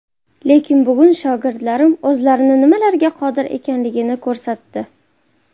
Lekin bugun shogirdlarim o‘zlarini nimalarga qodir ekanligini ko‘rsatdi.